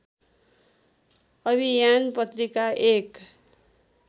अभियान पत्रिका एक